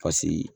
Paseke